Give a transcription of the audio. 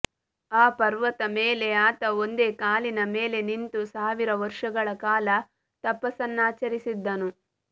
ಆ ಪರ್ವತ ಮೇಲೆ ಆತ ಒಂದೇ ಕಾಲಿನ ಮೇಲೆ ನಿಂತು ಸಾವಿರ ವರ್ಷಗಳ ಕಾಲ ತಪಸ್ಸನ್ನಾಚರಿಸಿದ್ದನು